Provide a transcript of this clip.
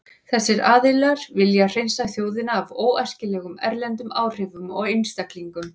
Þessir aðilar vilja hreinsa þjóðina af óæskilegum erlendum áhrifum og einstaklingum.